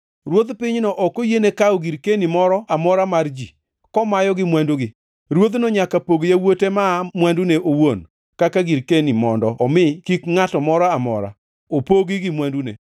Ruodh pinyno ok oyiene kawo girkeni moro amora mar ji, komayogi mwandugi. Ruodhno nyaka pog yawuote maa mwandune owuon kaka girkeni mondo omi kik ngʼata moro amora opogi gi mwandune.’ ”